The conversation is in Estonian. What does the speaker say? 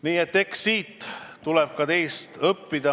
Nii et eks tuleb ka teilt õppida.